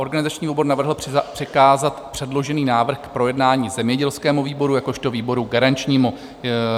Organizační výbor navrhl přikázat předložený návrh k projednání zemědělskému výboru jakožto výboru garančnímu.